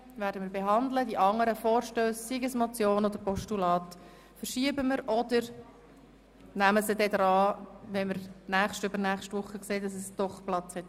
Die anderen Vorstösse, seien es nun Motionen oder Postulate, verschieben wir oder nehmen sie an die Reihe, wenn wir in der nächsten oder übernächsten Woche merken, dass wir dafür doch Zeit haben.